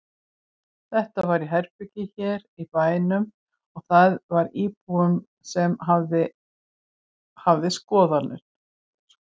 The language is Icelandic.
Þetta var í herbergi hér í bænum og það var íbúinn sem hafði skoðunina.